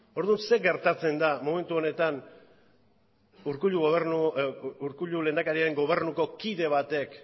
orduan zer gertatzen da momentu honetan urkullu lehendakariaren gobernuko kide batek